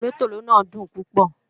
Tólótóló náà dùn púpọ̀